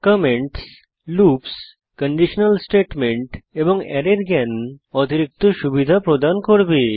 comments loops conditional statement এবং অ্যারের জ্ঞান অতিরিক্ত সুবিধা প্রদান করবে